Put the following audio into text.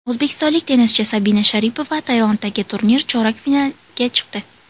O‘zbekistonlik tennischi Sabina Sharipova Tailanddagi turnir chorak finaliga chiqdi.